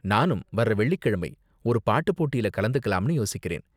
நானும் வர்ற வெள்ளிக்கிழமை ஒரு பாட்டு போட்டில கலந்துக்கலாம்னு யோசிக்கிறேன்.